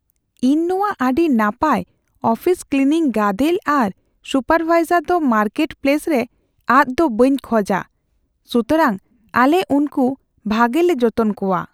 ᱤᱧ ᱱᱚᱶᱟ ᱟᱹᱰᱤ ᱱᱟᱯᱟᱭ ᱟᱯᱷᱤᱥ ᱠᱞᱤᱱᱤᱝ ᱜᱟᱫᱮᱞ ᱟᱨ ᱥᱩᱯᱟᱨᱵᱷᱟᱭᱡᱟᱨ ᱫᱚ ᱢᱟᱨᱠᱮᱴᱯᱞᱮᱥ ᱨᱮ ᱟᱫᱽᱼᱫᱚ ᱵᱟᱹᱧ ᱠᱷᱚᱡᱟ ᱾ ᱥᱩᱛᱚᱨᱟᱝ ᱟᱞᱮ ᱩᱱᱠᱩ ᱵᱷᱟᱜᱮ ᱞᱮ ᱡᱚᱛᱚᱱ ᱠᱚᱣᱟ ᱾